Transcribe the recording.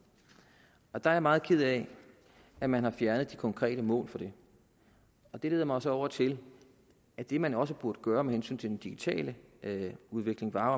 der er jeg meget ked af at man har fjernet de konkrete mål for det og det leder mig så over til at det man også burde gøre med hensyn til den digitale udvikling var